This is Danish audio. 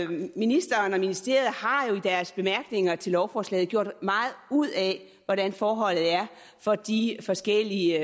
ministeren og ministeriet har jo i deres bemærkninger til lovforslaget gjort meget ud af hvordan forholdet er for de forskellige